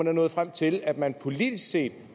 er nået frem til at man politisk set